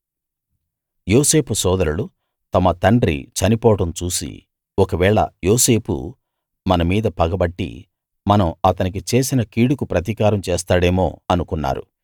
యోసేపు సోదరులు తమ తండ్రి చనిపోవడం చూసి ఒకవేళ యోసేపు మన మీద పగబట్టి మనం అతనికి చేసిన కీడుకు ప్రతీకారం చేస్తాడేమో అనుకున్నారు